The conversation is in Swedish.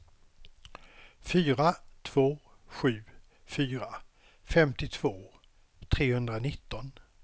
fyra två sju fyra femtiotvå trehundranitton